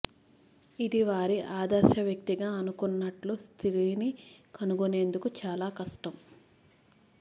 ఇది వారి ఆదర్శ వ్యక్తిగా అనుకుంటున్నట్లు స్త్రీని కనుగొనేందుకు చాలా కష్టం